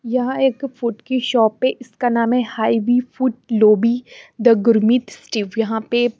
यहाँ एक फ़ूड की शॉप हैं इसका नाम हैं high B food lobby the Gurmeet Steve यहाँ पे--